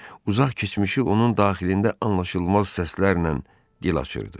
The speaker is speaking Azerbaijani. Uzaq keçmişi onun daxilində anlaşılmaz səslərlə dil açırdı.